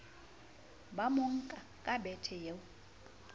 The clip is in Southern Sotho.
ba monka ka bethe eo